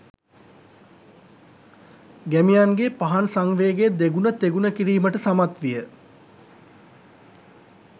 ගැමියන්ගේ පහන් සංවේගය දෙගුණ, තෙගුණ කිරීමට සමත්විය.